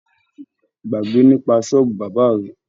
Gbágbe nípa sọ́ọ̀bù bábà rẹ!